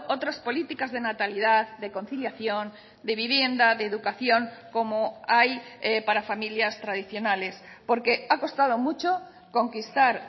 otras políticas de natalidad de conciliación de vivienda de educación como hay para familias tradicionales porque ha costado mucho conquistar